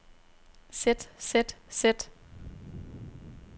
sæt sæt sæt